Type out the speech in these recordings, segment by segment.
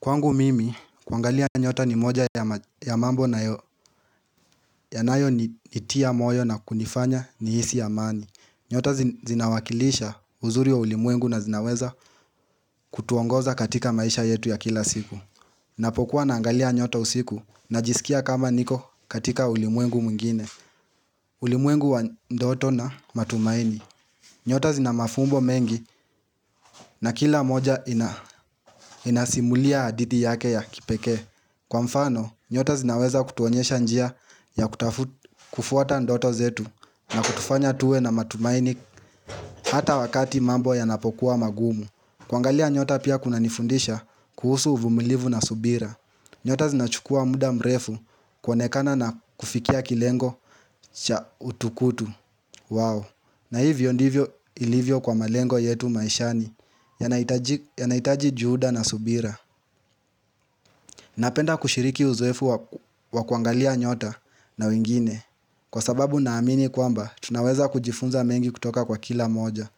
Kwangu mimi, kuangalia nyota ni moja ya mambo yanayonitia moyo na kunifanya nihisi amani. Nyota zinawakilisha uzuri wa ulimwengu na zinaweza kutuongoza katika maisha yetu ya kila siku. Napokuwa naangalia nyota usiku najisikia kama niko katika ulimwengu mwingine. Ulimwengu wa ndoto na matumaini. Nyota zina mafumbo mengi na kila moja inasimulia adidi yake ya kipekee. Kwa mfano, nyota zinaweza kutuonyesha njia ya kutafuta kufuata ndoto zetu na kutufanya tuwe na matumaini hata wakati mambo yanapokuwa magumu. Kuangalia nyota pia kuna nifundisha kuhusu uvumilivu na subira. Nyota zinachukua muda mrefu kuonekana na kufikia kilengo cha utukutu. Wow! Na hivyo ndivyo ilivyo kwa malengo yetu maishani yanahitaji juhuda na subira. Napenda kushiriki uzoefu wa kuangalia nyota na wengine kwa sababu naamini kwamba tunaweza kujifunza mengi kutoka kwa kila mmoja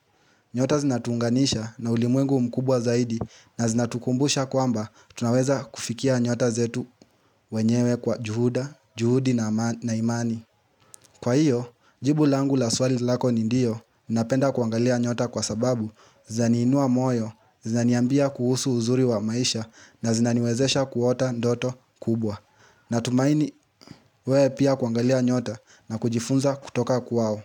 nyota zinatuunganisha na ulimwengu mkubwa zaidi na zinatukumbusha kwamba tunaweza kufikia nyota zetu wenyewe kwa juhuda, juhudi na imani Kwa hiyo, jibu langu la swali lako ni ndiyo, napenda kuangalia nyota kwa sababu zaniinua moyo Zaniambia kuhusu uzuri wa maisha na zinaniwezesha kuota ndoto kubwa. Natumaini wewe pia kuangalia nyota na kujifunza kutoka kwao.